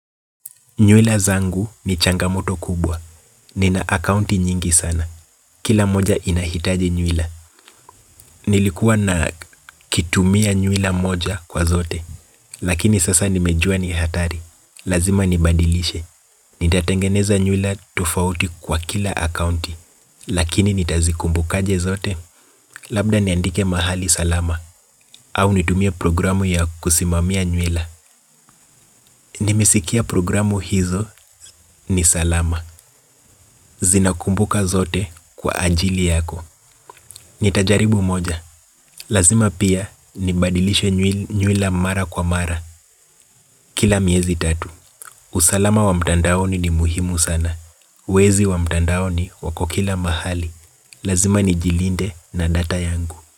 Nywela zangu ni changamoto kubwa. Nina akaunti nyingi sana. Kila moja inahitaji nywila. Nilikuwa na kitumia nywila moja kwa zote. Lakini sasa nimejua ni hatari. Lazima nibadilishe. Nitatengeneza nywila tofauti kwa kila akaunti. Lakini nitazikumbuka aje zote. Labda niandike mahali salama. Au nitumie programu ya kusimamia nywila. Nimesikia programu hizo ni salama. Zinakumbuka zote kwa ajili yako. Nitajaribu moja. Lazima pia nibadilishe nywila mara kwa mara. Kila miezi tatu. Usalama wa mtandaoni ni muhimu sana. Wezi wa mtandaoni wako kila mahali. Lazima nijilinde na data yangu.